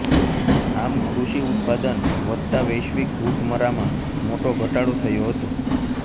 આમ કૃષિ ઉત્પાદન વધતા વૈશ્વિક ભૂખમરામાં મોટો ઘટાડો થયો હતો